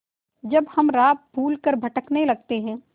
जब हम राह भूल कर भटकने लगते हैं